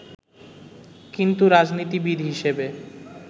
কিন্তু রাজনীতিবিদ হিসেবে